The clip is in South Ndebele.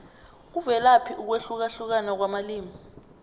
kuvelaphi ukwehlukahlukana kwamalimi